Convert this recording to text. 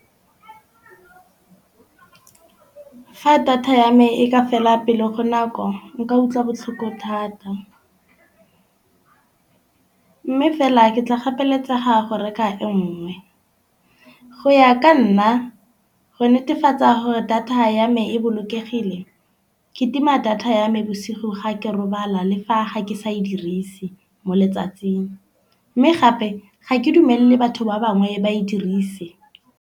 Ha data ya me e ka fela pele go nako nka utlwa botlhoko thata. Mme fela ke tla gapeletsega go reka e nngwe. Go ya ka nna go netefatsa gore data ya me e bolokegile ke tima data ya me bosigo ga ke robala, le fa ga ke sa e dirise mo letsatsing. Mme gape ga ke dumele batho ba bangwe ba e dirise.